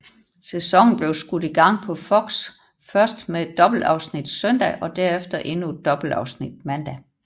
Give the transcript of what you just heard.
Sæsonen blev skudt i gang på Fox først med et dobbeltafsnit søndag og derefter endnu et dobbeltafsnit mandag